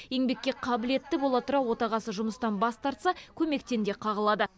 еңбекке қабілетті бола тұра отағасы жұмыстан бас тартса көмектен де қағылады